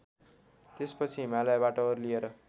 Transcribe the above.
त्यसपछि हिमालयबाट ओर्लिएर